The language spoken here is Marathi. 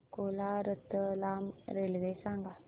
अकोला रतलाम रेल्वे सांगा